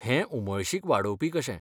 हें उमळशीक वाडोवपी कशें.